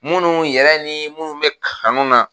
Minnu yɛrɛ ni minnu bɛ kanu na.